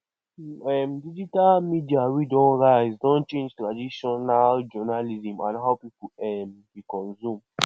um digital media wey don rise don change traditional journalism and how people um dey consume